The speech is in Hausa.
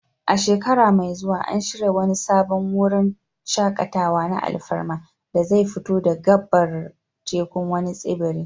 A shekara mai zuwa, an shirya wani sabon wurin shaƙatawa na alfarma da zai fito da gabar tekun wani tsibiri.